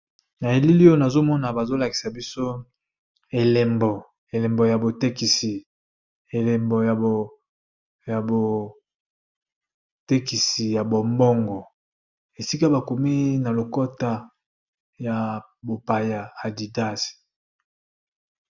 Na elili oyo nazo mona bazo lakisa biso elembo, elembo ya botekisi, elembo ya botekisi ya bombongo, esika ba komi na lokota ya bopaya adidas .